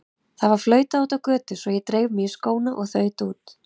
Það var flautað úti á götu svo ég dreif mig í skóna og þaut út.